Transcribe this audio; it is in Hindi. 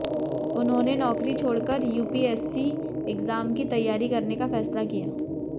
उन्होंने नौकरी छोड़ कर यूपीएससी एग्जाम की तैयारी करने का फैसला किया